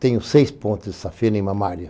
Tenho seis pontos de safenia em mamária.